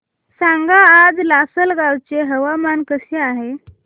सांगा आज लासलगाव चे हवामान कसे आहे